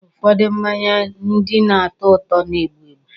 Ụfọdụ mmanya ndị na-atọ ụtọ na-egbu egbu.